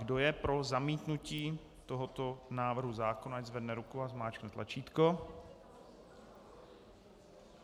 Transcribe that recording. Kdo je pro zamítnutí tohoto návrhu zákona, ať zvedne ruku a zmáčkne tlačítko.